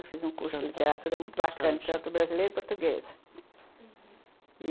Eu fiz um curso de literatura muito bacana, literatura brasileira e portuguesa, uhum.